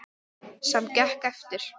Sem gekk eftir.